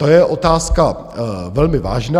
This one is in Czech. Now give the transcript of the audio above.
To je otázka velmi vážná.